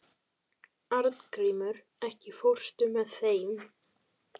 Arngrímur, ekki fórstu með þeim?